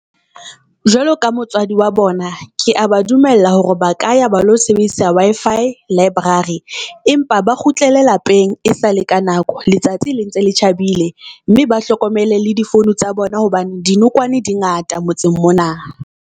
Jwalo ka motswadi wa bona, ke a ba dumella hore ba ka ya ba lo sebedisa Wi-Fi library empa ba kgutlele lapeng e sale ka nako. Letsatsi le ntse le tjhabile mme ba hlokomele le di-phone tsa bona. Hobane dinokwane di ngata motseng mona.